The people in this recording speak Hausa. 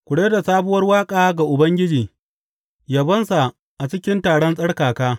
Ku rera sabuwar waƙa ga Ubangiji, yabonsa a cikin taron tsarkaka.